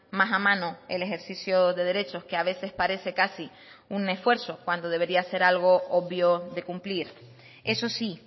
más a mano el ejercicio de derechos que a veces parece casi un esfuerzo cuando debería ser algo obvio de cumplir eso sí